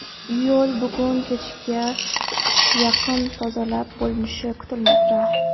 Yo‘l bugun kechga yaqin tozalab bo‘linishi kutilmoqda.